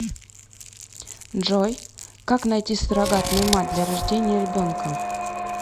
джой как найти суррогатную мать для рождения ребенка